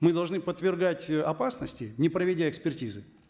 мы должны подвергать э опасности не проведя экспертизы